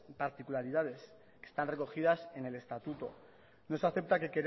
particularidades que están recogidas en el estatuto no se acepta que